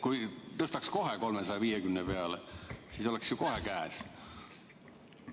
Kui tõstaks kohe 350 peale, siis oleks ju kohe käes.